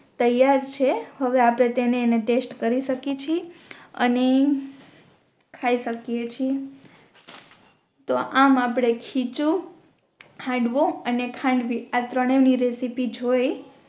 તૈયાર છે હવે આપણે તેને એને તસ્ત કરી શકીયે છીયે અને ખાઈ શકીયે છીયે તોહ આમ આપણે ખીચું હાંડવો અને ખાંડવી આ ત્રણે ની રેસીપી જોઈ